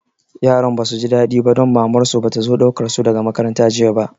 Yaran ba su ji daɗi ba don Mamar su ba ta zo ɗaukar su daga makaranta jiya ba